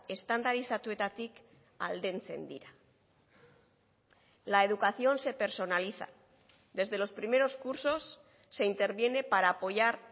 estandarizatuetatik aldentzen dira la educación se personaliza desde los primeros cursos se interviene para apoyar